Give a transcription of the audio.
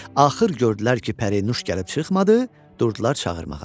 Axır gördülər ki, Pərinuş gəlib çıxmadı, durdular çağırmağa.